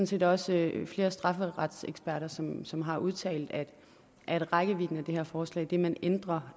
set også flere strafferetseksperter som som har udtalt at at rækkevidden af det her forslag det man ændrer